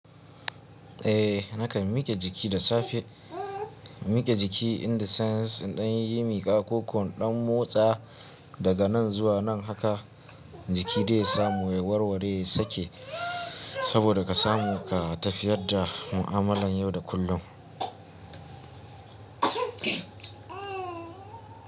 Eh, nakan mike jiki da safe. Mike jiki in the sense in ɗan yi miƙa ko ko in ɗan motsa daga nan zuwa nan haka jiki dai ya samu ya warware, ya sake saboda ka samu ka tafiyar da mu'amalan yau da kullum.